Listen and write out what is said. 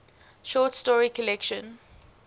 short story collection